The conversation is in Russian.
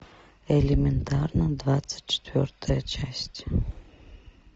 элементарно двадцать четвертая часть